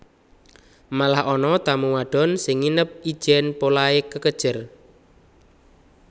Malah ana tamu wadon sing nginep ijèn polahé kekejer